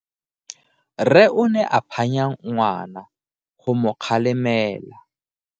Rre o ne a phanya ngwana go mo galemela.